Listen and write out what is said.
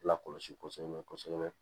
Lakɔlɔsi kosɛbɛ kosɛbɛ